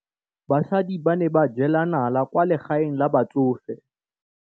Basadi ba ne ba jela nala kwaa legaeng la batsofe.